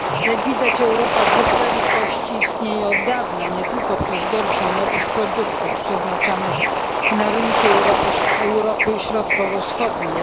Jak widać Europa dwóch prędkości istnieje od dawna, nie tylko przez gorszą jakość produktów przeznaczonych na rynki Europy Środkowo Wschodniej.